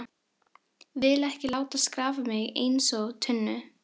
Vil ekki láta skrapa mig einsog tunnu.